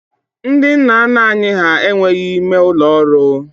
Ndị nna nna anyị ha enweghị ime ụlọ ọrụ